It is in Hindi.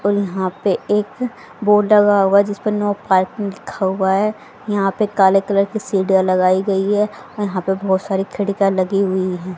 और यहां पे एक बोर्ड डाला हुआ है जिसपे नो पार्किंग लिखा हुआ है यहां पे काले कलर की सीढ़ियां लगाई गई है यहां पे बहुत सारी खिड़कीया लगी हुई है।